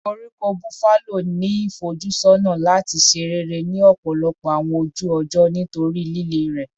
Koríko Buffalo ni ifojusọna lati ṣe rere ni ọpọlọpọ awọn oju-ọjọ nitori lile rẹ